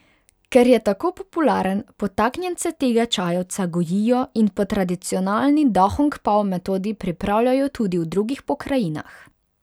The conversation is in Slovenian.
Ker je tako popularen, podtaknjence tega čajevca gojijo in po tradicionalni dahongpao metodi pripravljajo tudi v drugih pokrajinah.